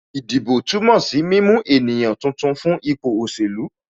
Ìdìbò túmọ̀ sí mímú ènìyàn tuntun fún ipò òṣèlú